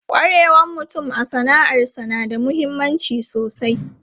Kwarewan mutum a sana'arsa na da mahimmanci sosai.